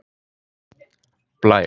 Blær